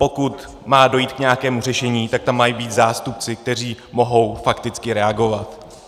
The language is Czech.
Pokud má dojít k nějakému řešení, tak tam mají být zástupci, kteří mohou fakticky reagovat.